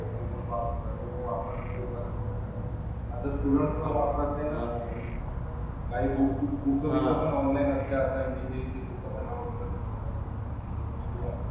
हो खूपच वाढत आहे आणि लोकं वापर खूप आता स्टुडंट्स पण वापरत नाही ना. काही बुकबिक बुकंबिकं पण ऑनलाईन असते. आता इंजिनिअरिंगची बुकं पण डाउनलोड करते लोकं. स्टुडंट्स.